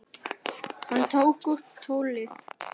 Hann tók upp tólið.